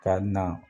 Ka na